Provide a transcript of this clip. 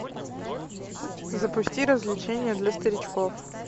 запусти развлечения для старичков